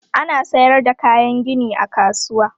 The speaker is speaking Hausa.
Ana sayar da kayan gini a kasuwa.